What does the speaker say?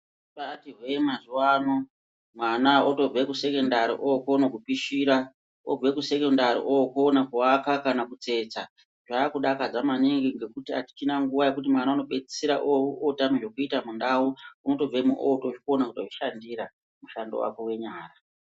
Zvabaati hwee mazuvano mwana otobve kusekendari ookone kupishira. Obve kusekendari ookone kuvaka kana kutsetsa. Zvaakudakadza maningi ngekuti hatichina nguva yekuti mwana unopedzisira ootame zvekuita mundau. Unotobvemo ootizvikona kutozvishandira mushando wake wenyara.